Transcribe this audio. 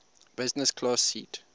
business class seat